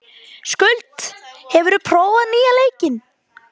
Skuld, hefur þú prófað nýja leikinn?